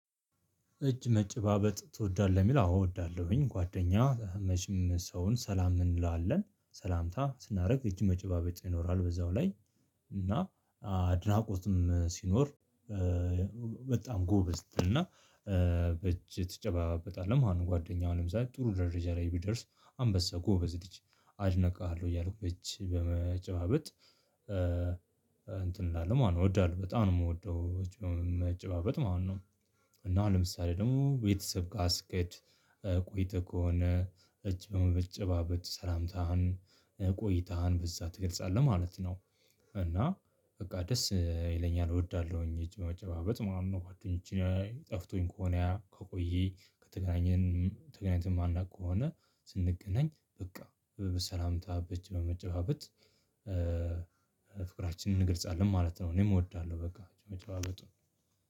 እጅ መጨባበጥ ትወዳለህ የሚል አዎ እወዳለሁኝ ጓደኛ መችም ሰውን ሰላም እንለለን ሰላምታ ስናደርግ እጅ መጨባበጥ ይኖራል በዛው ላይ እና አድናቆትም ሲኖር በጣም ጎበዝ እና በእጅ ትጨባበጣለህ ማለት ጓደኛህ አሁን ለምሰሌ ጥሩ ደረጃ ላይ ቢደርስ አንበሳ ጎበዝ ልጅ አደንቅሃለሁ እያልኩ እጅ በመጨባበጥ ላለ ማን እወዳለሁ በጣም ነው የምወደው እጅ መጨባበጥ ማለት ነው። እና ለምሳሌ ደግሞ ቤተሰብ ጋር ስኬድ ቆይተህ ከሆነ እጅ በመበጨባበጥ ሰላምታህን ቆይታህን በዛ ትገልጻለህ ማለት ነው። እና በቃ ደስ ይለኛል እወዳለሁኝ እጅ በመጨባበጥ ማለት ነው ጓደኞቼን ጠፍቶኝ ከሆነ ከቆየ ከተገናኘን ተገናኝተን ማናቅ ከሆነ ስንገናኝ በቃ በሰላምታ በእጅ በመጨባበጥ ፍቅራችንን እንገልጻለን ማለት ነው። እኔም እወዳለሁ በቃ መጨበበጡን